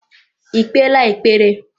I kpeela ekpere?